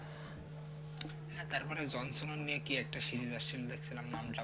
হ্যাঁ তারপরে jon snow নিয়ে কি একটা series আসছে দেখছিলাম নামটাম